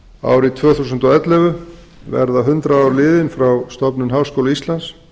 árið tvö þúsund og ellefu verða hundrað ár liðin frá stofnun háskóla íslands